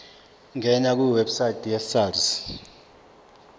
ngena kwiwebsite yesars